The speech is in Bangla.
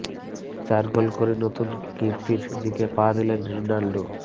চার গোল করে নতুন কীর্তির দিকে পা দিলেন রোনাল্ডো